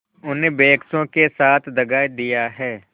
उन बेकसों के साथ दगा दिया है